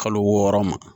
Kalo wɔɔrɔ ma